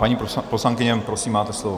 Paní poslankyně, prosím, máte slovo.